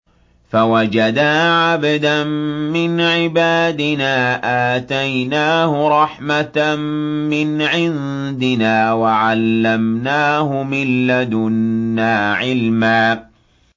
فَوَجَدَا عَبْدًا مِّنْ عِبَادِنَا آتَيْنَاهُ رَحْمَةً مِّنْ عِندِنَا وَعَلَّمْنَاهُ مِن لَّدُنَّا عِلْمًا